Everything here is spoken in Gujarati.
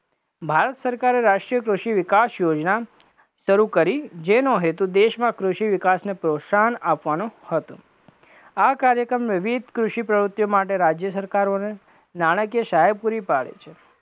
ભારત સરકારે રાષ્ટ્રીય કૃષિ વિકાસ યોજના શરુ કરી, જેનો હેતુ દેશમાં કૃષિ વિકાસને પ્રોત્સાહન આપવાનો હતો, આ કાર્યક્રમ વિવિધ કૃષિ પ્રવુતિઓ માટે રાજ્ય સરકારોને નાણાકીય સહાય પુરી પાડી છે,